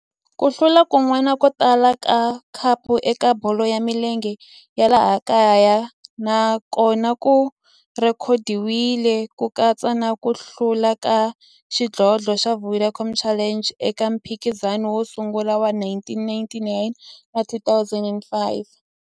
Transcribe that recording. Ku hlula kun'wana ko tala ka khapu eka bolo ya milenge ya laha kaya na kona ku rhekhodiwile, ku katsa na ku hlula ka xidlodlo xa Vodacom Challenge eka mphikizano wo sungula wa 1999 na 2005.